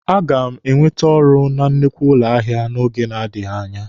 A ga m enwete ọrụ na nnukwu ụlọ ahịa n'oge na-adịghị anya.